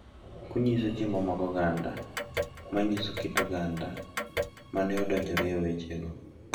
Kunyiso chiemo mag oganda ma nyiso kit oganda ma ne odonjore e wechego.